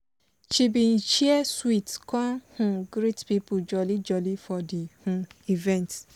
she bi share sweet con um greet people jolly jolly for di um event.